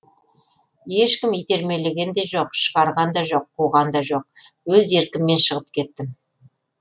ешкім итермелеген де жоқ шығарған да жоқ қуған да жоқ өз еркіммен шығып кеттім